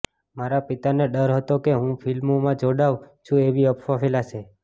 મારા પિતાને ડર હતો કે હું ફિલ્મોમાં જોડાઉં છું એવી અફ્વા ફેલાશે